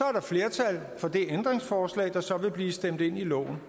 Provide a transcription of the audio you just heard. er der flertal for det ændringsforslag der så vil blive stemt ind i loven